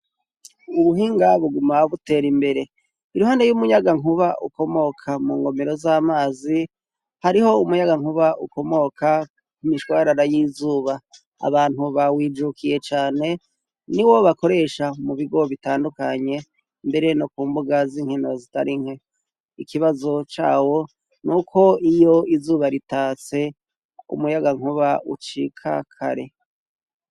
Ubuhinga buguma butera imbere. Iruhande y'umunyaga nkuba ukomoka mu ngomero z'amazi. Hariho umuyagankuba ukomoka ku imishwarara y'izuba abantu bawijukiye cane ni wo bakoresha mu bigob bitandukanye mbere no ku mbuga z'inkino zitari nke ikibazo cawo n uko iyo izuba ritatse umuyagankuba ucika kare.